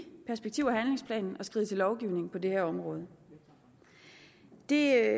perspektiv og handlingsplanen at skride til lovgivning på det her område det er